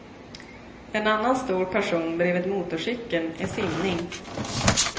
En annan stor passion bredvid motorcykeln är simning.